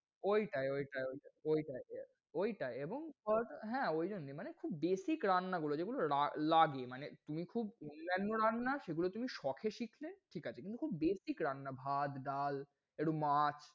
ঐটাই ঐটাই ঐটাই ঐটাই ঐটাই, এবং sauce হ্যাঁ ওই জন্যে মানে খুব basic রান্না গুলো। যেগুলো লা~লাগে মানে তুমি খুব অন্যান্য রান্না সেগুলো তুমি সখে শিখলে ঠিক আছে কিন্তু খুব basic রান্না ভাত, ডাল, একটু মাছ,